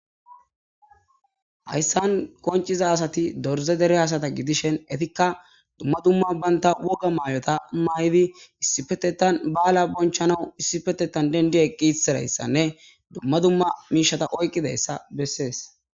Hayisan qoncida asati dirize dere asata gidishin etika dumma dumma banta woga mayota mayidi issippetetan bala bonchanaw issipetetan dende dendi eqisiraysane dumma dumma mishshata oyiqizayisa beses.